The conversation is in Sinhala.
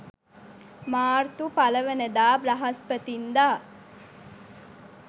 මාර්තු 01 වන දා බ්‍රහස්පතින්දා